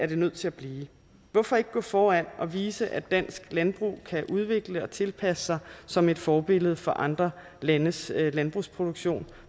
det nødt til at blive hvorfor ikke gå foran og vise at dansk landbrug kan udvikle sig og tilpasse sig som et forbillede for andre landes landbrugsproduktion